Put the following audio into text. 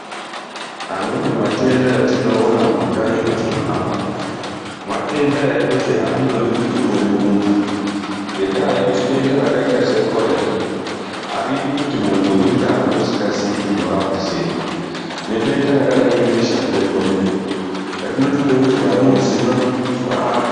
Amweni matenda etinoona mumakanyi mwetinohamba umwu, matenda ekuti aandodi kuti uone muntu, ngendaa yekuti denda rakaita sekhorera aridi kuti muntu urirape usikazii kuti unorapa sei nedenda rakadai ngebeshamupengo riya rinotode kuti vanoziva varape.